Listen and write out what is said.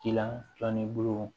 Kilan tɔ ni bulu